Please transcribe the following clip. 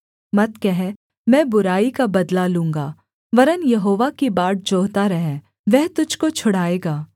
मत कह मैं बुराई का बदला लूँगा वरन् यहोवा की बाट जोहता रह वह तुझको छुड़ाएगा